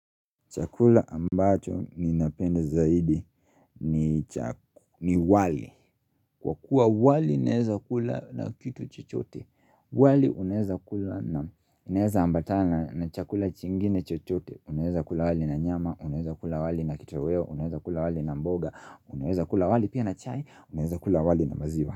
Chakula ambacho ni napenda zaidi ni cha ni wali. Kwa kuwa wali inaweza kula na kitu chochote, wali unaweza kula inaweza ambatana na chakula chingine chochote, inaweza kula wali na nyama, inaweza kula wali na kitoweo, inaweza kula wali na mboga, inaweza kula wali pia na chai, inaweza kula wali na maziwa.